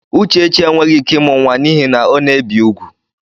Uchechi enweghị ike ịmụ nwa n'ihi na ọ na-ebi úgwù.